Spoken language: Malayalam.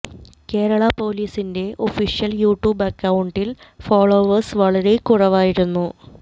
കേരള പോലീസിന്റെ ഒഫീഷ്യൽ യുട്യൂബ് അക്കൌണ്ടിൽ ഫോളോവേഴ്സ് വളരെ കുറവായിരുന്നു